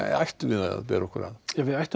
ættum við að bera okkur af að ættum